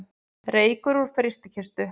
Reykur úr frystikistu